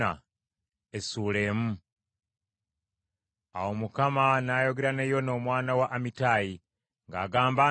Awo Mukama n’ayogera ne Yona omwana wa Amittayi ng’agamba